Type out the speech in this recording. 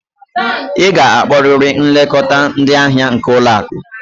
Ị ga-akpọrịrị nlekọta ndị ahịa nke ụlọ akụ!